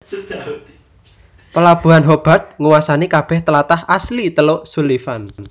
Pelabuhan Hobart nguwasani kabeh tlatah asli teluk Sullivan